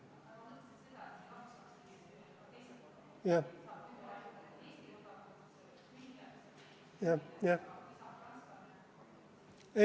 Jah, jah, jah.